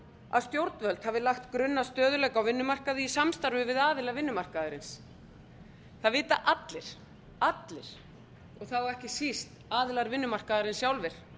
að stjórnvöld hafi lagt grunn að stöðugleika á vinnumarkaði í samstarfi við aðila vinnumarkaðarins það vita allir og þá ekki síst aðilar vinnumarkaðarins sjálfir